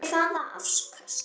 Fyrir hvaða afköst?